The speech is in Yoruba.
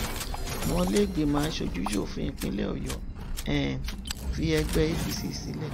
omọ ilé gbìmò aṣojúṣòfin ìpínlẹ ọyọ um fi ẹgbẹ apc sílẹ